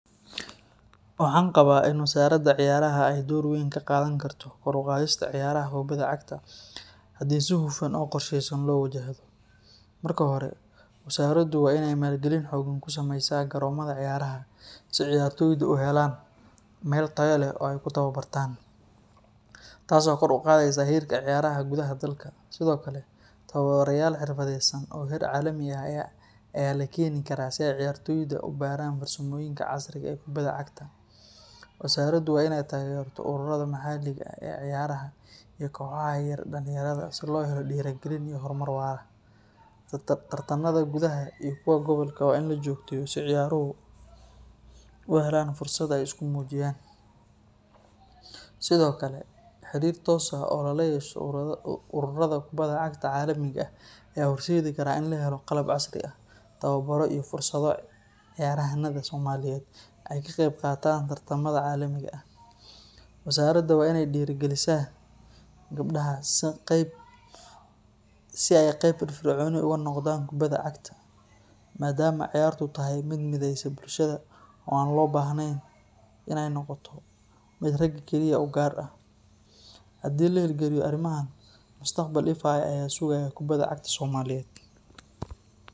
Waxan qawa in wasaraada ciyaraha ee dor weyn kaqadhan karto kor uqadhista ciyaraha kubaada cagta hadii si hufan wasaradu waa in malgalin xogan kusamesa garomaada ciyaraha si ciyartoydu u helan garon tayo leh tas oo kor u qadhesa ciyaraha dalka sithokale tawabarayal casriyesan, wasaragu waa in ee tageran koxaaha, sithokale xirir tos ah oo lalayesho xidigyaada, madama ciyartu ee tahay miid mideyso, ee wadha sugayan bulshaada dan.